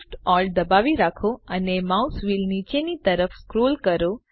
Shift Alt દબાવી રાખો અને માઉસ વ્હીલ નીચેની તરફ સ્ક્રોલ કરો